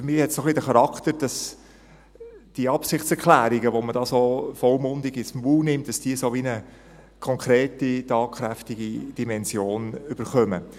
Für mich hat es ein wenig den Charakter, dass die Absichtserklärungen, die man da so vollmundig in den Mund genommen hat, wie eine konkrete, tatkräftige Dimension erhalten.